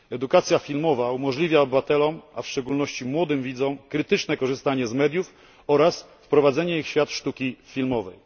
Edukacja filmowa umożliwia obywatelom, a w szczególności młodym widzom, krytyczne korzystanie z mediów oraz wprowadzenie ich w świat sztuki filmowej.